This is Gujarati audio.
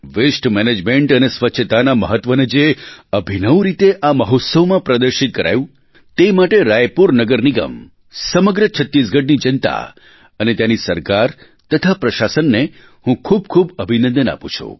વસ્તે મેનેજમેન્ટ અને સ્વચ્છતાના મહત્ત્વને જે અભિનવ રીતે આ મહોત્સવમાં પ્રદર્શિત કરાયું તે માટે રાયપુર નગર નિગમ સમગ્ર છત્તીસગઢની જનતા અને ત્યાંની સરકાર તથા પ્રશાસનને હું ખૂબ ખૂબ અભિનંદન આપું છું